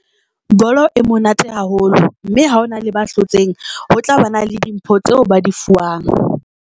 Bolo e monate haholo mme ha o na le ba hlotseng, ho tla ba na le dimpho tseo ba di fuwang.